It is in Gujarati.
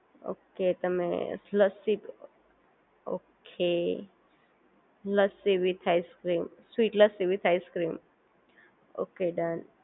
ઓક તેમ lassi okay lassi with ice cream sweet lassi with ice cream okay done